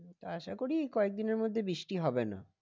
আশা করি এই কয়েক দিনের মধ্যে বৃষ্টি হবে না।